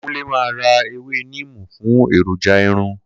Kunle ma ra ewé níìmù fún èròjà irun